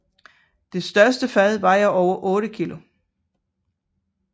Det største fad vejer over 8 kg